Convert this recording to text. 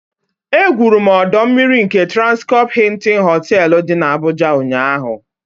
Egwuru m ọdọ mmiri nke Transkọpụ Hịịtịn Họtelụ dị n'Abụja ụnyaahụ.